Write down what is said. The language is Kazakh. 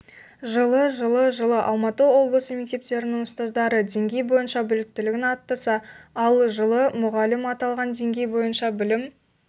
жылы жылы жылы алматы облысы мектептерінің ұстаздары деңгей бойынша біліктілігін арттырса ал жылы мұғалім аталған деңгей бойынша білім